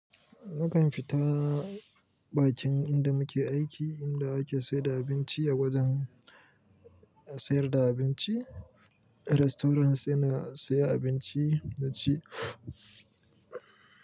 Nakan fita bakin inda muke aiki, inda ake sayar da abinci a wajen sayar da abinci. Restaurants saina siya abinci na ci.